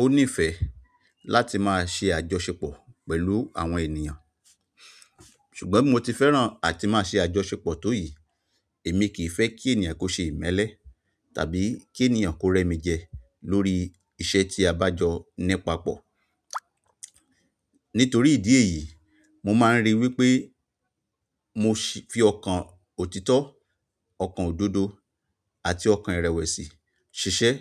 ó nífẹ̀ẹ́ láti máa ṣe àjọṣepọ̀ pẹ̀lú àwọn ènìyàn, ṣùgbọ́n bó ti fẹ́ràn àti máa ṣe àjọṣepọ̀ tó yìí, èmi kì í fẹ́ kí ènìyàn kó ṣe ìmẹ́lẹ́ tàbí kí ènìyàn kó rẹ́ mi jẹ lórí iṣẹ́ tí a bá jọ ní papọ̀. Nítorí ìdí èyí, mo máa ń rí wípé mo fi ọkàn òtítọ́, ọkàn òdodo àti ọkàn ìrẹ̀wẹ̀sì ṣiṣẹ́